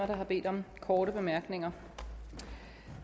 der har bedt om korte bemærkninger